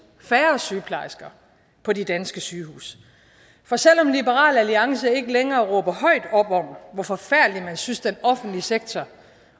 færre sygeplejersker på de danske sygehuse for selv om liberal alliance ikke længere råber højt op om hvor forfærdelig man synes den offentlige sektor